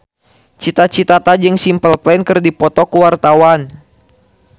Cita Citata jeung Simple Plan keur dipoto ku wartawan